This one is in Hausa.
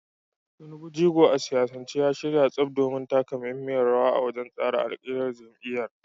Tinubu, jigo a siyasance, ya shirya tsaf domin taka muhimmiyar rawa wajen tsara alƙiblar jam’iyyar.